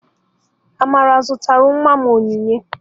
Amara zụtara nwa m onyinye.